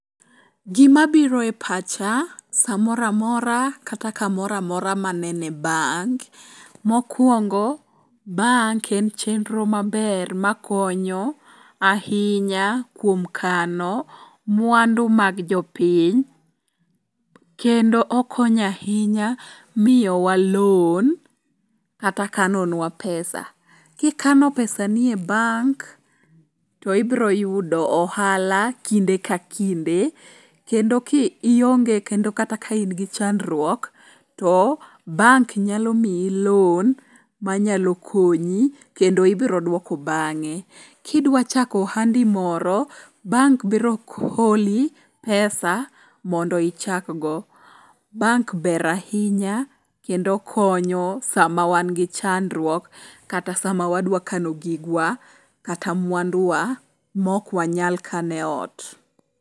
Gima biro e pacha samora amora kata kamoro amora manene bank, mokwongo bank en chenro maber makonyo ahinya kuom kano mwandu mag jopiny. Kendo okonyo ahinya miyowa loan kata kanonwa pesa. Kikano pesani e bank to ibroyudo ohala kinde ka kinde kendo kionge kendo kata kain gi chandruok, to bank nyalo miyi loan manyalo konyi kendo ibiroduoko bang'e. Kidwachako ohandi moro, bank biro holi pesa mondo ichakgo. Bank ber ahinya kendo konyo sama wan gi chandruok kata sama wadwa kano gigwa kata mwandu wa mok wanyal kano e ot.